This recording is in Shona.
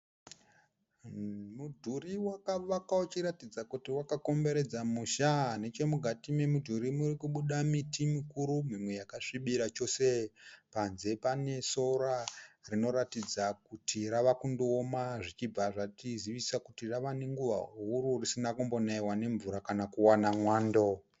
Mudhuri wakavakwa uchiratidza kuti wakakomberedza musha , nechemukati memudhuri murikubuda miti mikuru mimwe yakasvibira chose, panze pane sora rinoratidza kuti ravakundooma zvichibva zvatizivisa kuti rave nenguva risina kumbonayiwa nemvura kana kuwana mwando.